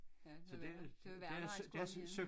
Ja det var værre det var værre når han skulle op igen